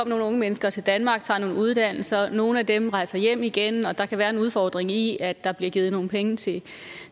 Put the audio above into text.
nogle unge mennesker til danmark tager nogle uddannelser og nogle af dem rejser hjem igen og der kan være en udfordring i at der bliver givet nogle penge til